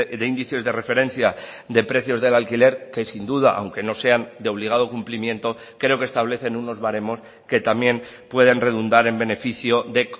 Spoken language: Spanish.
de índices de referencia de precios del alquiler que sin duda aunque no sean de obligado cumplimiento creo que establecen unos baremos que también pueden redundar en beneficio de